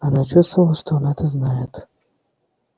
она чувствовала что он это знает